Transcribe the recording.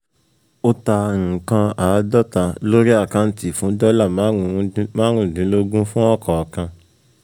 O ta nǹkan àádọ́ta lórí àkáǹtì fún dọ́là marun dínlógún fún ọ̀kọ̀ọ̀kan.